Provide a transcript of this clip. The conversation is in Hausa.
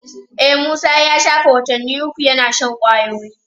E, Musa ya shafe watanni uku yana shan kwayoyi.